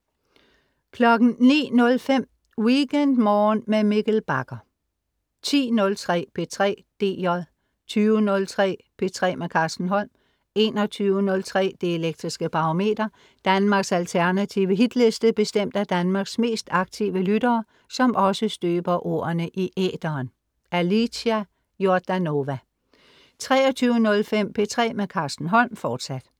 09.05 WeekendMorgen med Mikkel Bagger 10.03 P3 DJ 20.03 P3 med Carsten Holm 21.03 Det Elektriske Barometer. Danmarks alternative Hitliste bestemt af Danmarks mest aktive lyttere, som også støber ordene i æteren. Alicia Jordanova 23.05 P3 med Carsten Holm, fortsat